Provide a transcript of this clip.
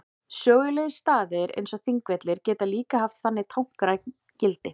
Sögulegir staðir eins og Þingvellir geta líka haft þannig táknrænt gildi.